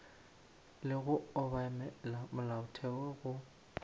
le go obamela molaotheo go